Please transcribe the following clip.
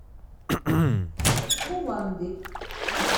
кувандык